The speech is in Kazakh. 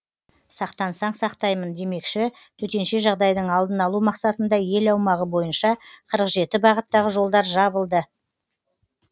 сақтансаң сақтаймын демекші төтенше жағдайдың алдын алу мақсатында ел аумағы бойынша қырық жеті бағыттағы жолдар жабылды